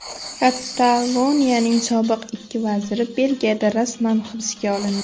Kataloniyaning sobiq ikki vaziri Belgiyada rasman hibsga olindi.